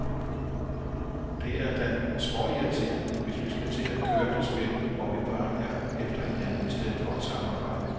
Det er da småirriterende, hvis vi skal til at køre det spil, hvor vi bare er efter hinanden i stedet for at samarbejde.